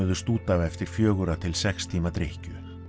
út af eftir fjögurra til sex tíma drykkju